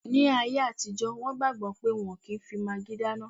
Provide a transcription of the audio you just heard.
Ní ayé àtijọ́, wọn gbàgbọ̀ pé wọ́n ò kí n fi magí dáná